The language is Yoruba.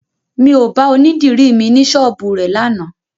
Mi ò bá onídìri mi ní ṣọ́ọ́bù rẹ̀ lánàá